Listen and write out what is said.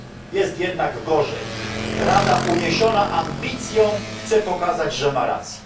Jest jednak gorzej Rada, uniesiona ambicją, chce pokazać, że ma rację.